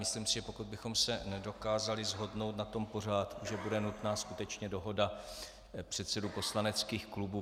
Myslím si, že pokud bychom se nedokázali shodnout na tom pořádku, že bude nutná skutečně dohoda předsedů poslaneckých klubů.